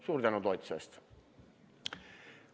Suur tänu toetuse eest!